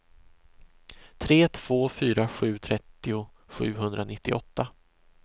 tre två fyra sju trettio sjuhundranittioåtta